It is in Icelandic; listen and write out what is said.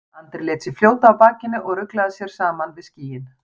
Andri lét sig fljóta á bakinu og ruglaði sér saman við skýin.